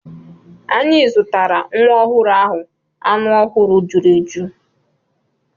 Anyị zụtara nwa ọhụrụ ahụ anụ ọhụrụ juru eju.